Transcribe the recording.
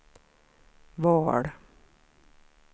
val